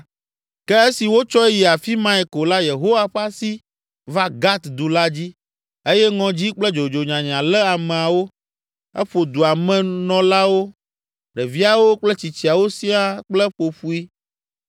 Ke esi wotsɔe yi afi mae ko la Yehowa ƒe asi va Gat du la dzi, eye ŋɔdzi kple dzodzonyanya lé ameawo. Eƒo dua me nɔlawo, ɖeviawo kple tsitsiawo siaa kple ƒoƒoe.